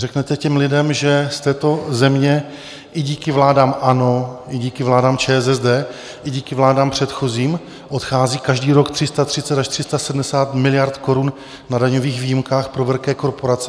Řeknete těm lidem, že z této země, i díky vládám ANO, i díky vládám ČSSD, i díky vládám předchozím, odchází každý rok 330 až 370 miliard korun na daňových výjimkách pro velké korporace?